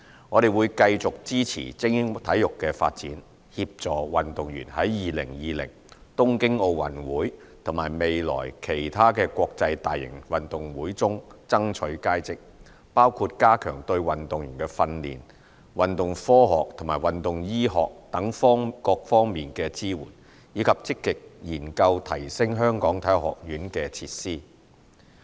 我們會繼續支持精英體育的發展，協助運動員在2020東京奧運會和未來其他國際大型運動會中爭取佳績，包括加強對運動員在訓練、運動科學和運動醫學等各方面的支援，以及積極研究提升香港體育學院的設施。